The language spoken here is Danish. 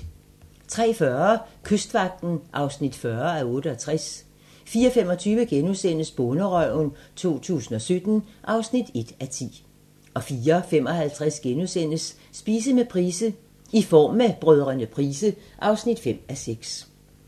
03:40: Kystvagten (40:68) 04:25: Bonderøven 2017 (1:10)* 04:55: Spise med Price: "I form med Brdr. Price" (5:6)*